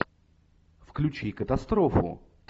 включи катастрофу